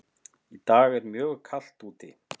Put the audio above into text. Í dag er mjög kalt úti.